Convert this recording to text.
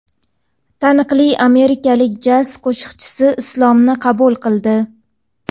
Taniqli amerikalik jaz qo‘shiqchisi Islomni qabul qildi.